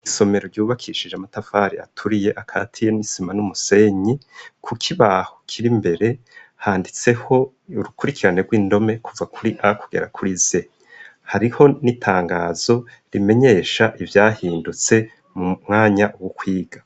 Isomero ryubakishije amatafari aturiye akatiye n'isima n'umusenyi. Ku kibaho kir'imbere, handitseko urukurikirane rw'indome, kuva kuri a kugera kuri z. Hariho n'itangazo rimenyesha ivyahindutse m'umwanya wo kwiga.